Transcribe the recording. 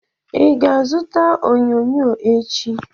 I ga-azụta onyonyo echi?